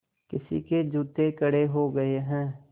किसी के जूते कड़े हो गए हैं